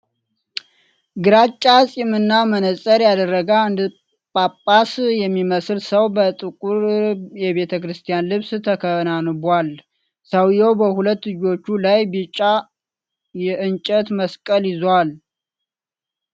ግራጫ ጺምና መነጽር ያደረገ አንድ ጳጳስ የሚመስል ሰው በጥቁር የቤተ ክርስቲያን ልብስ ተከናንቧል። ሰውዬው በሁለት እጆቹ ላይ ቢጫ የእንጨት መስቀልን ይዟል።